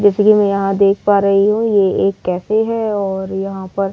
जैसे कि मैं यहां देख पा रही हूँ यह एक कैफै है और यहां पर --